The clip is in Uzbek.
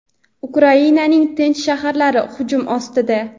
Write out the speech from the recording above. Ukrainaning tinch shaharlari hujum ostida.